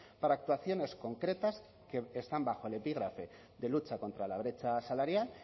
para actuaciones concretas que están bajo el epígrafe de lucha contra la brecha salarial